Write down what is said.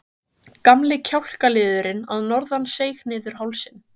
Gamli kjálkaliðurinn að norðan seig niður hálsinn.